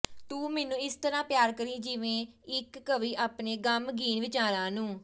ਤੂੰ ਮੈਨੂੰ ਇਸ ਤਰਾਂ ਪਿਆਰ ਕਰੀਂ ਜਿਵੇਂ ਇਕ ਕਵੀ ਆਪਣੇ ਗ਼ਮਗੀਨ ਵਿਚਾਰਾਂ ਨੂੰ